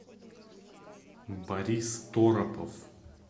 борис торопов